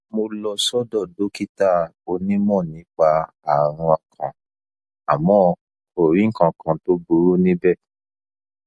mo lọ sọdọ dókítà onímọ nípa ààrùn ọkàn àmọ kò rí nǹkan kan tó burú níbẹ